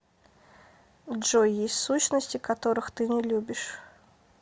джой есть сущности которых ты не любишь